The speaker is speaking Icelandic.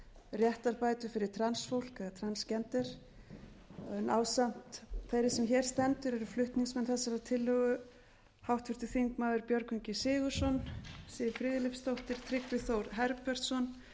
réttarbætur fyrir transfólk eða transgender ásamt þeirri sem hér stendur eru flutningsmenn þessarar tillögu háttvirtir þingmenn björgvin g sigurðsson siv friðleifsdóttir tryggvi þór herbertsson